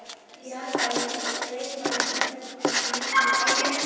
Ég held að ég gleymi aldrei hvernig glumdi í stéttinni.